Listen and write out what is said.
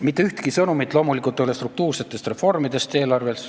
Mitte ühtki sõnumit ei ole eelarves struktuursetest reformidest.